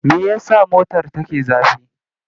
Me ya sa motar take zafi?